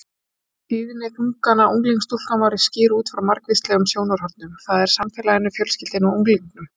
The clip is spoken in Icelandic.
Tíðni þungana unglingsstúlkna má skýra út frá margvíslegum sjónarhornum, það er samfélaginu, fjölskyldunni og unglingnum.